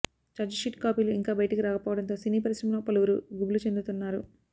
chargesheet కాపీలు ఇంకా బయటికి రాకపోవడంతో సినీ పరిశ్రమలో పలువురు గుబులు చెందుతున్నారు